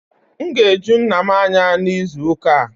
M ga-eju nna m anya n'izu ụka a